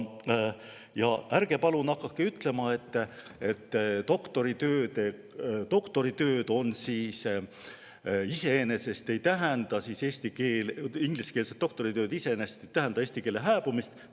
Ja ärge palun hakake ütlema, et ingliskeelsed doktoritööd iseenesest ei tähenda eesti keele hääbumist.